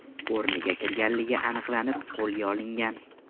o‘rniga kirganligi aniqlanib, qo‘lga olingan.